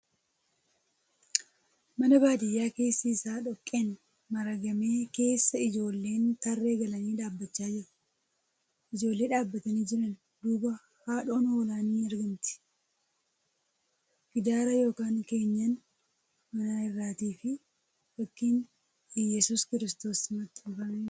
Mana baadiyyaa keessi isaa dhoqqeen maaragame keessa ijoolleen tarree galanii dhaabbachaa jiru. Ijoollee dhaabbatanii jiran duuba haadhoon hoolaa ni argamti. Gidaara ykn keenyan manaa irratfi fakkiin Iyyasuus Kiristoos maxxanee jira .